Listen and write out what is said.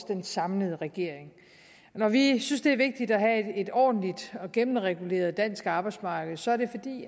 den samlede regering når vi synes det er vigtigt at have et ordentligt og gennemreguleret dansk arbejdsmarked så er det fordi